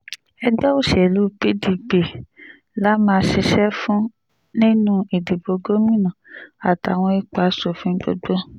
ẹgbẹ́ òsèlú pdp la máa ṣiṣẹ́ fún nínú ìdìbò gómìnà àtàwọn ipò asòfin gbogbo